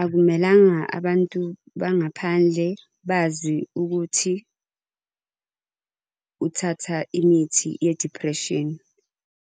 Akumelanga abantu bangaphandle bazi ukuthi uthatha imithi ye-depression.